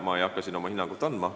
Ma ei hakka oma hinnangut andma.